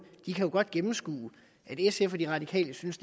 kan jo godt gennemskue at sf og de radikale synes